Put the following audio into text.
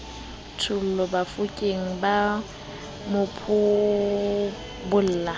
thollo bafokeng ba mo phobola